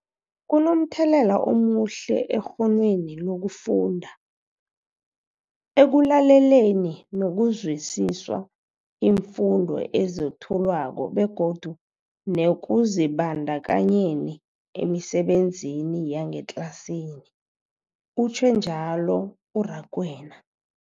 Kunomthelela omuhle ekghonweni lokufunda, ekulaleleni nokuzwisiswa iimfundo ezethulwako begodu nekuzibandakanyeni emisebenzini yangetlasini, utjhwe njalo u-Rakwena.